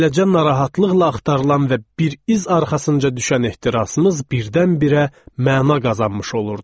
Beləcə narahatlıqla axtarılan və bir iz arxasınca düşən ehtirasımız birdən-birə məna qazanmış olurdu.